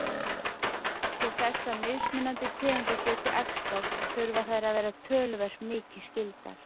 Til þess að mismunandi tegundir geti æxlast þurfa þær að vera töluvert mikið skyldar.